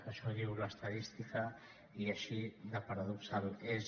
això diu l’estadística i així de paradoxal és